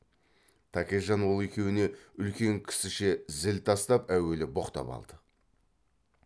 тәкежан ол екеуіне үлкен кісіше зіл тастап әуелі боқтап алды